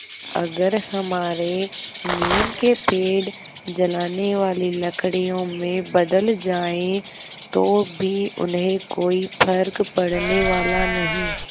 अगर हमारे नीम के पेड़ जलाने वाली लकड़ियों में बदल जाएँ तो भी उन्हें कोई फ़र्क पड़ने वाला नहीं